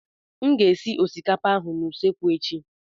M ga-esi osikapa ahụ n'usekwu echi.